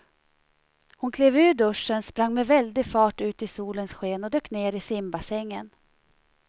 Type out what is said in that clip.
Hon klev ur duschen, sprang med väldig fart ut i solens sken och dök ner i simbassängen.